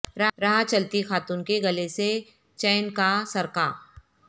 راہ چلتی خاتون کے گلے سے چین کا سرقہ